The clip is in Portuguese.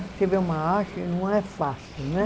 Você vê uma arte e não é fácil, né?